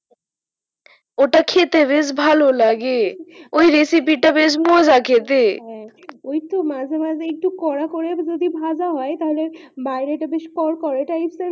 ওটা খেতে বেশ ভালো লাগে ওই রেসিপি তা বেশ মজা খেতে, ওই তো মাঝে একটু করা করে যদি ভাজা হয় তাহলে বাইরে তা বেশ কড়কড়া টাইপের